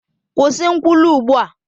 Kwụsị nkwulu ugbu a!